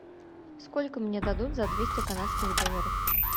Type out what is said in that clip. сколько мне дадут за двести канадских долларов